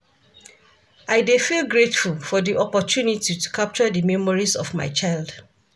I dey feel grateful for di opportunity to capture di memories of my child.